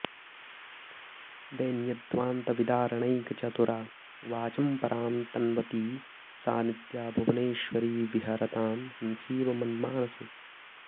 दैन्यध्वान्तविदारणैकचतुरा वाचं परां तन्वती सा नित्या भुवनेश्वरी विहरतां हंसीव मन्मानसे